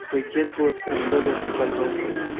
твой дед был оскорблён этим подонком